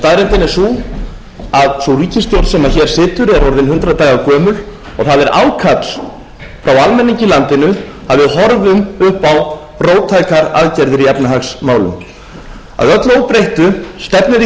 staðreyndin er sú að ríkisstjórn sem hér situr er orðin hundrað daga og það er ákall frá almenningi í landinu að við horfum upp á róttækar aðgerðir í efnahagsmálum að öllu óbreyttu stefnir í